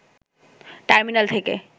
terminal থেকে